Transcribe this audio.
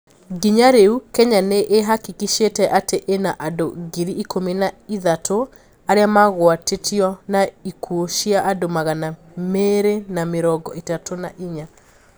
Nginya riu Kenya niihakikishite ati ina andu ngiri ikũmi na ithatũ aria magwatitio na ikuo cia andũ magana mĩrĩ na mĩrongo itatũ na inya.